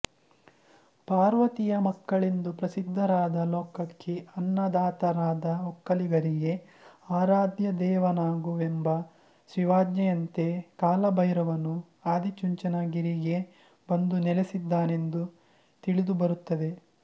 ಪಾರ್ವತಿಯ ಮಕ್ಕಳೆಂದು ಪ್ರಸಿದ್ಧರಾದ ಲೋಕಕ್ಕೆ ಅನ್ನದಾತರಾದ ಒಕ್ಕಲಿಗರಿಗೆ ಆರಾಧ್ಯದೇವನಾಗು ಎಂಬ ಶಿವಾಜ್ಞೆಯಂತೆ ಕಾಲಭೈರವನು ಆದಿಚುಂಚನಗಿರಿಗೆ ಬಂದು ನೆಲೆಸಿದನೆಂದು ತಿಳಿದು ಬರುತ್ತದೆ